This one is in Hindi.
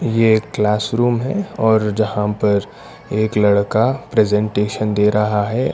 ये एक क्लासरूम है और जहां पर एक लड़का प्रेजेंटेशन दे रहा है।